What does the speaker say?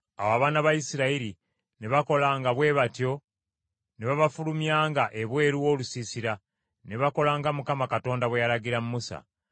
Awo abaana ba Isirayiri ne bakolanga bwe batyo ne babafulumyanga ebweru w’olusiisira. Ne bakola nga Mukama Katonda bwe yalagira Musa.